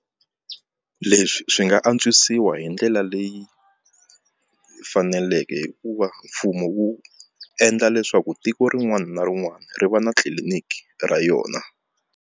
Leswi swi nga antswisiwa hi ndlela leyi faneleke hi ku va mfumo wu endla leswaku tiko rin'wana na rin'wana ri va na tliliniki ra yona.